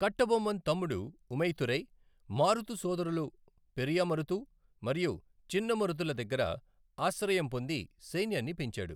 కట్టబొమ్మన్ తమ్ముడు ఊమైతురై, మారుతు సోదరులు పెరియ మరుతు మరియు చిన్న మరుతుల దగ్గర ఆశ్రయం పొంది సైన్యాన్ని పెంచాడు.